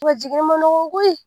wa jiginin ma nɔgɔn koyi.